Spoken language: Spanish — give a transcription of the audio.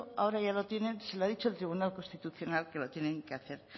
ahora ya lo tienen se lo ha dicho el tribunal constitucional que lo tienen que hacer